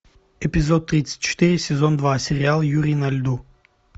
эпизод тридцать четыре сезон два сериал юрий на льду